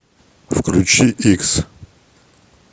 включи икс